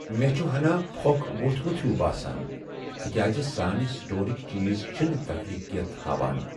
مے٘ چھُ ہناہ پھۄكھ ووتھمُت ہیوٗ باسان تكیازِ سانہِ سٹورٕكۍ چیز چھنہٕ تخلیقیت ہاوان ۔